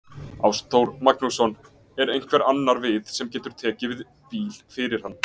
Ástþór Magnússon: Er einhver annar við sem getur tekið við bíl fyrir hann?